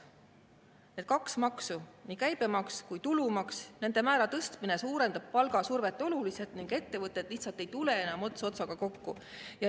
Nende kahe maksu, nii käibemaksu kui ka tulumaksu, määra tõstmine suurendab palgasurvet oluliselt ning ettevõtted lihtsalt ei tule enam ots otsaga kokku.